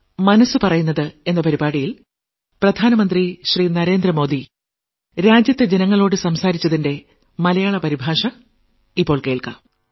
മനസ്സ് പറയുന്നത് നാൽപ്പത്തി ആറാം ലക്കം